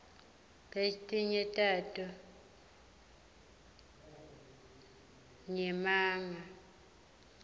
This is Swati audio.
letinye tato nyemangs